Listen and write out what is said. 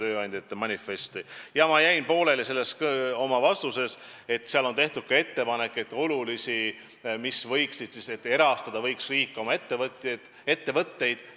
Mul jäi enne vastus pooleli, aga jah, manifestis on tehtud ka ettepanek, et riik võiks oma ettevõtteid erastada.